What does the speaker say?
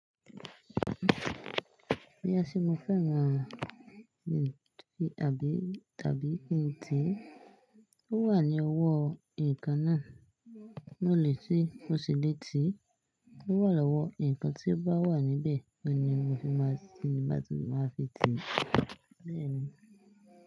Ìyá mi ṣé mo fẹ́ràn ọbẹ̀ ẹ̀fọ́ àbí tàbí iṣu tí ó wà ní ọwọ́ ǹkan náà, lóle tí ó ṣe létí, tí ó wà lọ́wọ́ ǹkan tí ó bá wà níbẹ̀, ó ni mo ni màá fi ti bà tí màá fi tì beeni.